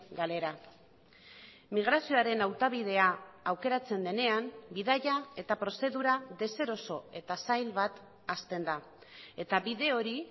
galera migrazioaren hautabidea aukeratzen denean bidaia eta prozedura deseroso eta zail bat hasten da eta bide hori